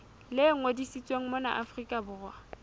le ngodisitsweng mona afrika borwa